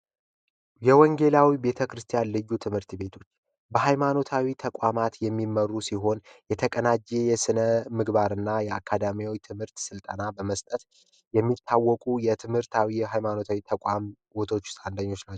የወንጌላዊ ቤተ ክርስቲያን ልዩ ትምህርት ቤቶች በሃይማኖታዊ ተቋማት የሚመሩ ሲሆን የተቀናጀ የስነ ምግባርና የአካዳሚዎች ትምህርት ስልጠና በመስጠት የሚታወቁ የትምህርታዊ ሃይማኖታዊ ተቋቶች አንደኞች ናቸው